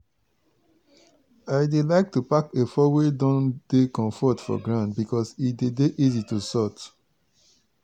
i like to pack efo wey don dey comfort for ground becos e dey dey easy to sort.